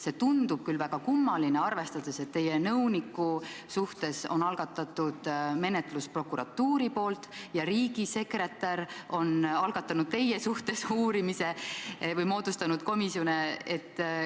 See tundub küll väga kummaline, arvestades, et teie nõuniku suhtes on prokuratuur algatanud menetluse ja riigisekretär on algatanud teie suhtes uurimise või moodustanud komisjoni.